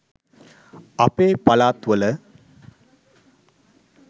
අපේ පලාත් වල